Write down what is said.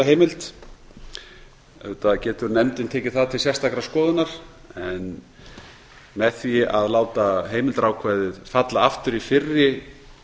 heimild auðvitað getur nefndin tekið það til sérstakrar skoðunar en með því að láta heimildarákvæðið falla aftur í fyrri